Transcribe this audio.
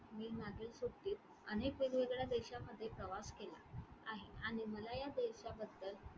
मी मागील सुट्टीत अनेक वेगवेगळ्या देशामध्ये प्रवास केला आहे आणि मला या देशाबद्दल,